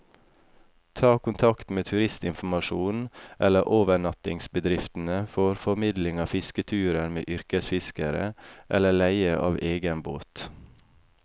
Ta kontakt med turistinformasjonen eller overnattingsbedriftene for formidling av fisketurer med yrkesfiskere, eller leie av egen båt.